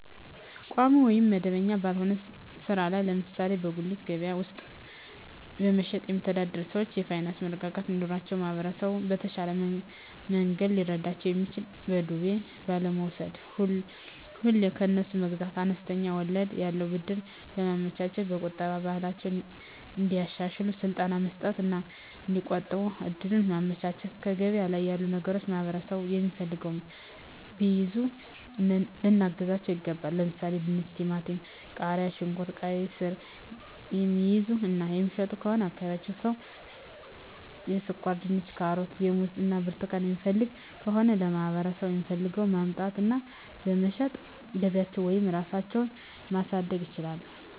ቋሚ ወይም መደበኛ ባልሆነ ሥራ ላይ ለምሳሌ በጉሊት ገበያ ውስጥ በመሸጥየሚተዳደሩ ሰዎች የፋይናንስ መረጋጋት እንዲኖራቸው ማህበረሰቡ በተሻለ መንገድ ሊረዳቸው የሚችለው በዱቤ ባለመውስድ፤ ሁሌ ከነሱ መግዛት፤ አነስተኛ ወለድ ያለው ብድር በማመቻቸት፤ የቁጠባ ባህላቸውን እንዲያሻሽሉ ስልጠና መስጠት እና እዲቆጥቡ እድሉን ማመቻቸት፤ ገበያ ላይ ያሉ ነገሮችን ማህበረሠቡ የሚፈልገውን ቢይዙ ልናግዛቸው ይገባል። ለምሣሌ፦፤ ድንች፤ ቲማቲም፤ ቃሪያ፣ ሽንኩርት፤ ቃይስር፤ የሚይዙ እና የሚሸጡ ከሆነ የአካባቢው ሠው ስኳርድንች፤ ካሮት፤ ሙዝ እና ብርቱካን የሚፈልግ ከሆነ ለማህበረሰቡ የሚፈልገውን በማምጣት እና በመሸጥ ገቢያቸውን ወይም ራሳቸው ማሣደግ ይችላሉ።